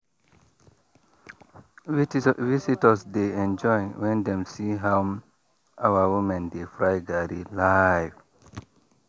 visitors dey enjoy when dem see how our women dey fry garri live.